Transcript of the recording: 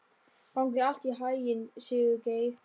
Gangi þér allt í haginn, Sigurgeir.